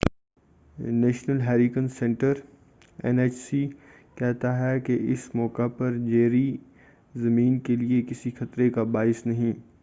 National hurricane centre N H C کہتا ہے کہ اس موقع پر جیری، زمین کے لیے کسی خطرے کا باعث نہیں۔